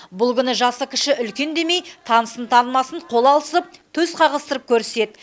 бұл күні жасы кіші үлкен демей танысын танымасын қол алысып төс қағыстырып көріседі